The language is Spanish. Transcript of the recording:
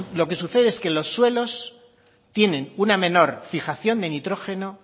lo que sucede es que los suelos tienen una menor fijación de nitrógeno